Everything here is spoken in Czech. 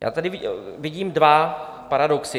Já tady vidím dva paradoxy.